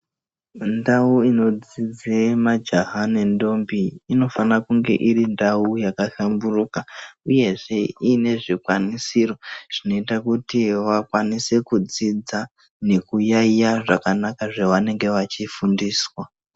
Ndau inodzidze majaha nendombi inofana kunge iri ndau yakahlamburuka uyezve ine zvikwanisiro zvinoita kuti vakwanise kudzidza nekuyaiya zvakanaka zvavanenge vachifundiswa.